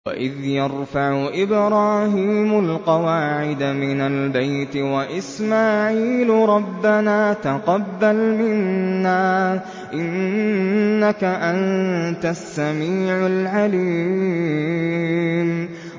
وَإِذْ يَرْفَعُ إِبْرَاهِيمُ الْقَوَاعِدَ مِنَ الْبَيْتِ وَإِسْمَاعِيلُ رَبَّنَا تَقَبَّلْ مِنَّا ۖ إِنَّكَ أَنتَ السَّمِيعُ الْعَلِيمُ